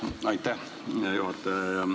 Aitäh, hea juhataja!